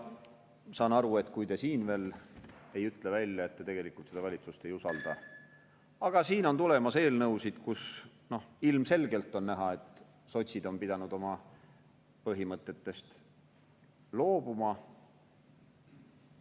Ma saan aru, kui te siin veel ei ütle välja, et te tegelikult seda valitsust ei usalda, aga siin on tulemas veel eelnõusid, mille puhul ilmselgelt on näha, et sotsid on pidanud oma põhimõtetest loobuma.